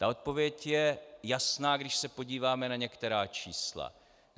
Ta odpověď je jasná, když se podíváme na některá čísla.